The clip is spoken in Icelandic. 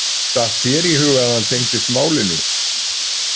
Datt þér í hug að hann tengdist málinu?